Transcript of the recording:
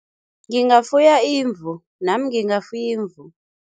Ngingafuya imvu, nami ngingafuya imvu.